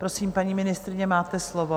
Prosím, paní ministryně, máte slovo.